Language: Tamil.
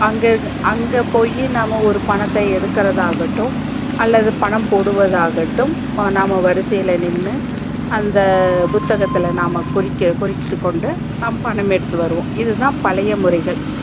அங்க அங்க போயி நாம ஒரு பணத்த எடுக்கறது ஆகட்டும் அல்லது பணம் போடுவது ஆகட்டும் நம்ப வரிசையில நின்னு அந்த புத்தகத்துல நாம குறித் குறித்து கொண்டு நாம் பணம் எடுத்து வருவோம் இதுதா பழைய முறைகள்